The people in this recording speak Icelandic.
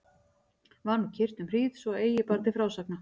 Var nú kyrrt um hríð svo að eigi bar til frásagna.